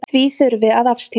Því þurfi að afstýra.